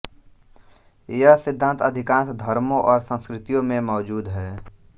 यह सिद्धान्त अधिकांश धर्मों और संस्कृतियों में मौजूद है